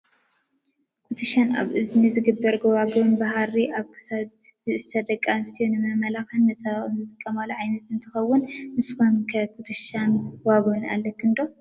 ኩቱሻን ኣብ እዝኒ ዝግበር ጎባጉቡን ብሃሪ ኣብ ክሳድ ዝእሰር ደቂ ኣንስትዮ ንመመላክዕን መፀባበቅን ዝጥቀማሉ ዓይነት እንትከውን፣ ንስክን ከ ኩቱሻን ጎባጉቡን ኣለክን ዶ?